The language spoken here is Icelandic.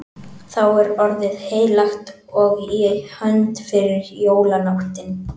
Þá er orðið heilagt og í hönd fer jólanóttin.